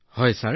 হয় ছাৰ